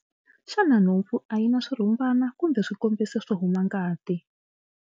Xana nhompfu a yi na swirhumbana kumbe swikombiso swo huma ngati?